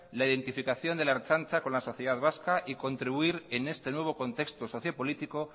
la identificación de la ertzaintza con la sociedad vasca y contribuir en este nuevo contexto socio político